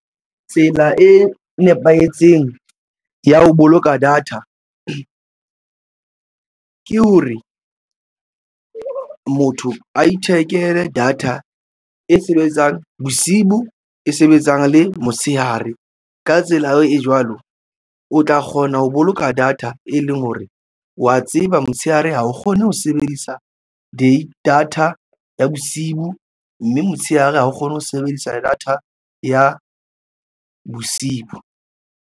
Tsela e nepahetseng ya ho boloka data ke hore motho a ithekele data e sebetsang bosibu e sebetsang le motshehare. Ka tsela eo jwalo o tla kgona ho boloka data e leng hore wa tseba motshehare. Ha o kgone ho sebedisa data ya bosiu mme motshehare ha o kgone ho sebedisa data ya bosiu.